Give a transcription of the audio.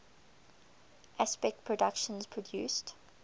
aspect productions produced